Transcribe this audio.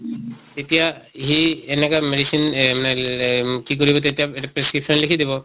এতিয়া সেই এনেকা medicine এহ কি কৰিব তেতিয়া এটা prescription লিখি দিব।